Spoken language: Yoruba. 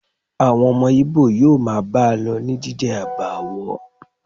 Àwọn ọmọ Ìbò yóò máa bá a lọ ní jíjẹ àbààwó